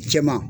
Cɛman